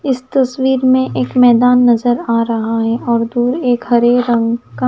इस तस्वीर में एक मैदान नजर आ रहा है और दूर एक हरे रंग का --